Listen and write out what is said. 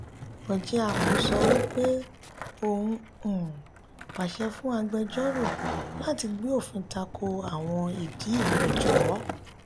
orjiako sọ wípé òun um pàṣẹ fún agbejoro láti gbé òfin tako awọn ìdì ipẹjọ.